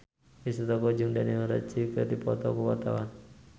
Risty Tagor jeung Daniel Radcliffe keur dipoto ku wartawan